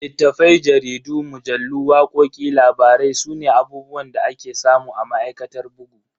Littafai, jaridu, mujallu, wakoki, labarai sune abubuwan da ake samu a ma'aikatar bugu.